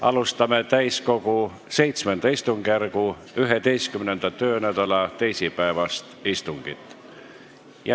Alustame täiskogu VII istungjärgu 11. töönädala teisipäevast istungit.